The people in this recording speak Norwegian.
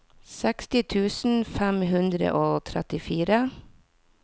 seksti tusen fem hundre og trettifire